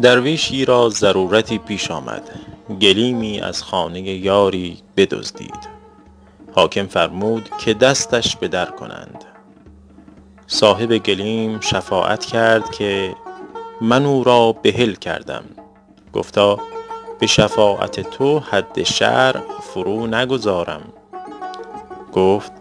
درویشی را ضرورتی پیش آمد گلیمی از خانه یاری بدزدید حاکم فرمود که دستش بدر کنند صاحب گلیم شفاعت کرد که من او را بحل کردم گفتا به شفاعت تو حد شرع فرو نگذارم گفت